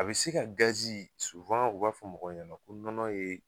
A bɛ se ka gazi u b'a fɔ mɔgɔw ɲɛna ko nɔnɔ ye